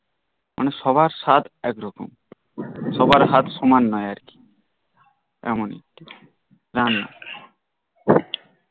মানে সবার স্বাদ একরকম সবার হাত সমান নই আর কি